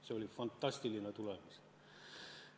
See oli fantastiline tulemus.